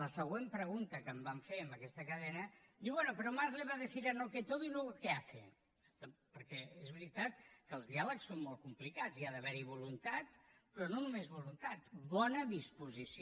la següent pregunta que em van fer en aquesta cadena diu bueno pero mas le va a decir no a todo y luego qué hace perquè és veritat que els diàlegs són molt complicats ha d’haverhi voluntat però no només voluntat bona disposició